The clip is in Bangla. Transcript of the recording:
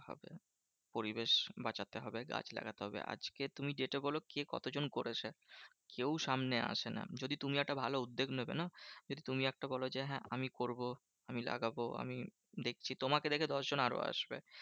পরিবেশ বাঁচাতে হবে গাছ লাগাতে হবে। আজকে তুমি যেটা বোলো কে কত জন করেছে? কেউ সামনে আসে না। যদি তুমি একটা ভালো উদ্বেগ নেবে না? যে তুমি একটা বোলো যে, হ্যাঁ আমি করবো আমি লাগাবো আমি দেখছি। তোমাকে দেখে দশজন আরো আসবে।